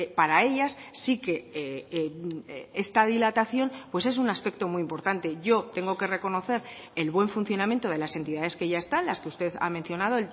para ellas sí que esta dilatación pues es un aspecto muy importante yo tengo que reconocer el buen funcionamiento de las entidades que ya están las que usted ha mencionado